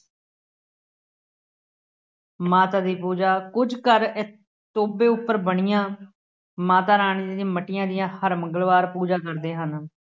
ਮਾਤਾ ਦੀ ਪੂਜਾ, ਕੁੱਝ ਘਰ ਇਸ ਟੋਭੇ ਉੱਪਰ ਬਣੀਆਂ ਮਾਤਾ ਰਾਣੀ ਦੀਆਂ ਮੱਟੀਆਂ ਦੀਆਂ ਹਰ ਮੰਗਲਵਾਰ ਪੂਜਾ ਕਰਦੇ ਹਨ।